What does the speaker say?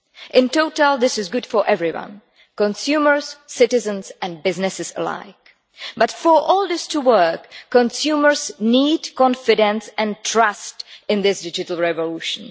In total, this is good for everyone consumers, citizens and businesses alike. But for all this to work, consumers need confidence and trust in this digital revolution.